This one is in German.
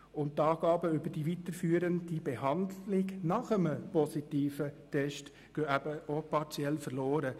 Und auch die Angaben über die weiterführende Behandlung nach einem positiven Test gehen partiell verloren.